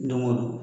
Don go don